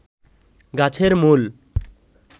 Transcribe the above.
গাছের মূল